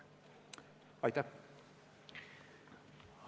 Aitäh!